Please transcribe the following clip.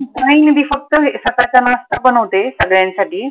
नाही ती फक्त सकळचा नाश्ता बनवते सगळ्यांसाठी